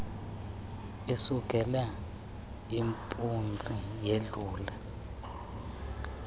isukela impunzi yedlula